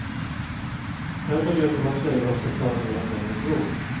Därför vet hon att tjejer ofta klarar mer än männen tror.